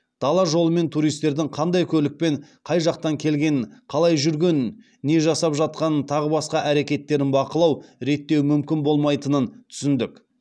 дала жолымен туристердің қандай көлікпен қай жақтан келгенін қалай жүргенін не жасап жатқанын тағы басқа әрекеттерін бақылау реттеу мүмкін болмайтынын түсіндік